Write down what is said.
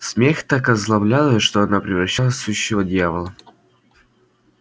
смех так озлоблял её что она превращалась в сущего дьявола